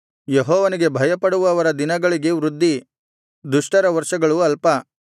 ಯೆಹೋವನಿಗೆ ಭಯಪಡುವವರ ದಿನಗಳಿಗೆ ವೃದ್ಧಿ ದುಷ್ಟರ ವರ್ಷಗಳು ಅಲ್ಪ